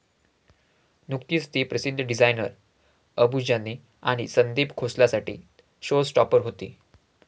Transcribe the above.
नुकतीच ती प्रसिद्ध डिझायनर अबू जानी आणि संदीप खोसलासाठी शो स्टॉपर होती.